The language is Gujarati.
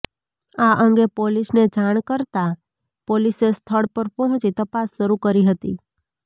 આ અંગે પોલીસને જાણ કરતાં પોલીસે સ્થળ પર પહોંચી તપાસ શરૂ કરી હતી